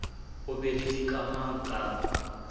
o be le dikamang ka